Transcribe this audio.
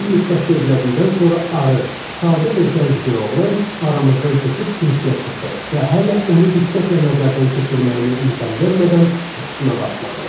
Bir müddət gözlədikdən sonra arıq, sadə və gənc bir oğlan aramızdan keçib kürsiyə çıxdı və hələ onu diqqətlə nəzərdən keçirməyimə imkan vermədən çıxışına başladı.